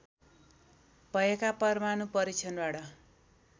भएका परमाणु परीक्षणबाट